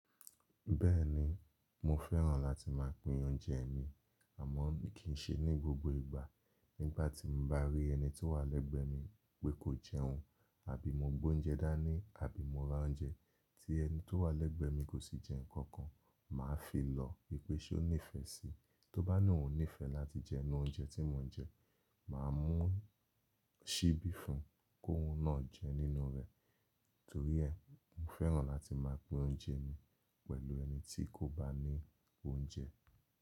Bẹ́ẹ̀ni, mo fẹ́ràn láti má a pín oúnjẹ mi, àmọ́ kì í ṣe ní gbogbo ìgbà. Nígbà tí mo bá rí ẹni tó wà lẹ́gbẹ̀ẹ́ mi pé kò jẹun àbí mo gbé oúnjẹ dá ní àbí mo ra oúnjẹ tí ẹni tó wà lẹ́gbẹ̀ẹ́ mi kò sì jẹ́ nǹkan kan, mà á fi lọ wípé ṣé ó nífẹ̀ẹ́ síi. Tó bá ní òun nífẹ̀ẹ́ láti jẹ inú oúnjẹ tí mo ń jẹ, mà á mú síbí fún un kó un náà jẹ nínú rẹ̀. Nítorí ẹ́, mo fẹ́ràn láti máa pín oúnjẹ mi pẹ̀lú ẹni tí kò bá ní oúnjẹ.